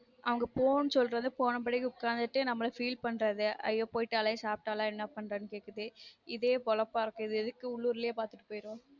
அங்க போனு சொல்றது போன பின்னாடி இங்க உக்காந்துட்டு நம்மல feel பண்றது ஐய்யொ போய்ட்டாலே சாப்டால என்ன பண்றான்னு கேட்டுட்டு இதே போலப்பா இருக்கும் இது எதுக்கு உள்ளுர்லே பார்த்துட்டு போய்ரலன்